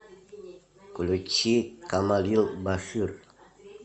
включи камалил башир